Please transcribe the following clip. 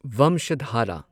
ꯚꯝꯁꯙꯥꯔꯥ